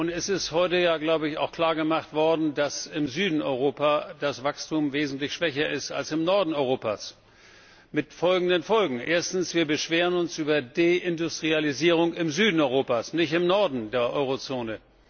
Es ist heute auch klar gemacht worden, dass im Süden Europas das Wachstum wesentlich schwächer ist als im Norden Europas mit folgenden Folgen Erstens, wir beschweren uns über Deindustrialisierung im Süden Europas, nicht im Norden der Euro Zone.